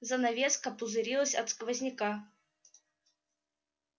занавеска пузырилась от сквозняка